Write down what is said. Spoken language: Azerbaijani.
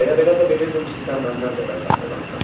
Elə belə də bilirdim ki, sən məndən də bədbəxt adamsan.